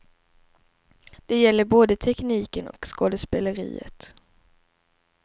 Det gäller både tekniken och skådespeleriet.